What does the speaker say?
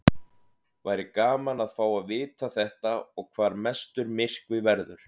Væri gaman að fá að vita þetta og hvar mestur myrkvi verður.